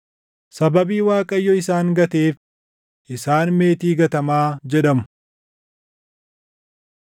Sababii Waaqayyo isaan gateef isaan meetii gatamaa jedhamu.”